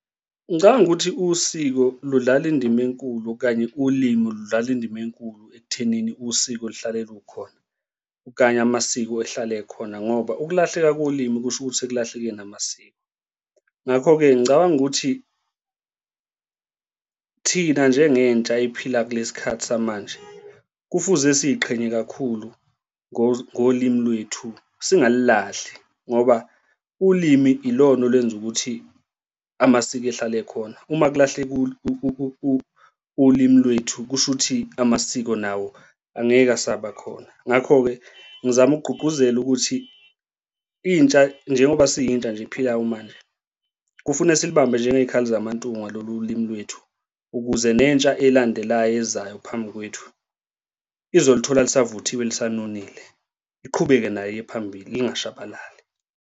Ngicabanga ukuthi usiko ludlala indima enkulu okanye ulimu ludlala indima enkulu ekuthenini usiko lihlale lukhona okanye amasiko ahlale khona, ngoba ukulahleka kolimi kusho ukuthi sekulahleke namasiko. Ngakho-ke ngicabanga ukuthi thina njengentsha ephila kulesi khathi samanje kufuze siyiqhenya kakhulu ngolimi lwethu singalilahli ngoba ulimi ilona olwenza ukuthi amasiko ehlale ekhona. Uma kulahleka ulimu lwethu kusho ukuthi amasiko nawo angeke asaba khona. Ngakho-ke ngizama ukugqugquzela ukuthi intsha njengoba siyintsha nje ephilayo manje, kufune silibambe njengey'khali zaMantungwa lolu limu lwethu ukuze nentsha elandelayo ezayo phambi kwethu izolithola lisavuthiwe lisanonile iqhubeke nayo iye phambili lingashabalali.